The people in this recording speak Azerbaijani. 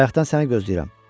Bayaqdan səni gözləyirəm.